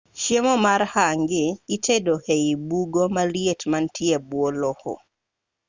chiemo mar hangi itedo ei bugo maliet manie bwo lowo